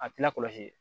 A tɛ lakɔlɔsi